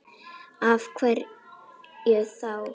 Lillý: Af hverju þá?